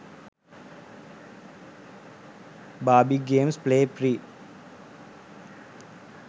barbie games play free